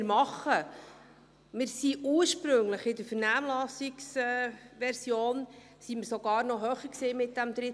Wir waren mit diesem Drittbetreuungsabzug in der Vernehmlassungsversion ursprünglich sogar noch höher.